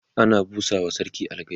ana busawa sarki algaita